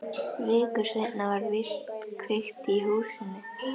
Viku seinna var víst kveikt í húsinu.